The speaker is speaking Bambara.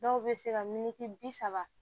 Dɔw bɛ se ka miniti bi saba